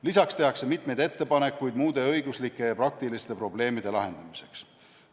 Lisaks tehakse mitmeid ettepanekuid muude õiguslike ja praktiliste probleemide lahendamiseks.